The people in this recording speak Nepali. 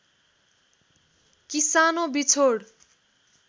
कि सानो बिछोड